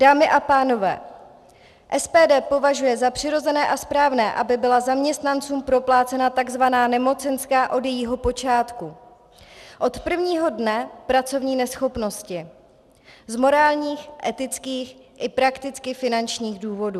Dámy a pánové, SPD považuje za přirozené a správné, aby byla zaměstnancům proplácena tzv. nemocenská od jejího počátku, od prvního dne pracovní neschopnosti z morálních, etických i prakticky finančních důvodů.